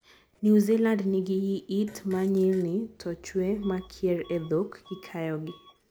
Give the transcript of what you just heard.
New Zealand nigi yiit ma nyilni to chwe makier e dhok kikayogi.